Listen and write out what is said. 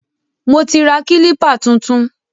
Mo ti ra kílípà tuntun.